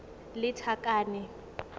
lethakane